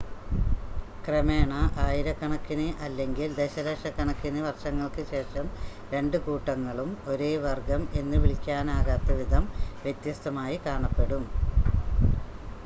ക്രമേണ ആയിരക്കണക്കിന് അല്ലെങ്കിൽ ദശലക്ഷക്കണക്കിന് വർഷങ്ങൾക്ക് ശേഷം രണ്ട് കൂട്ടങ്ങളും ഒരേ വർഗ്ഗം എന്ന് വിളിക്കാനാകാത്ത വിധം വ്യത്യസ്തമായി കാണപ്പെടും